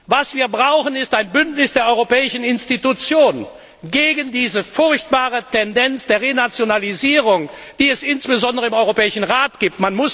Was wir brauchen, ist ein Bündnis der Europäischen Institutionen gegen diese furchtbare Tendenz der Renationalisierung, die es insbesondere im Europäischen Rat gibt.